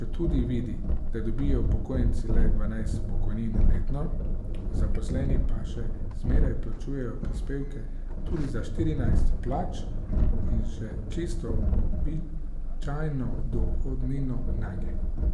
četudi vidi, da dobijo upokojenci le dvanajst pokojnin letno, zaposleni pa še zmeraj plačujejo prispevke tudi za štirinajst plač in še čisto običajno dohodnino nanje.